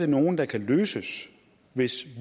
nogle der kan løses hvis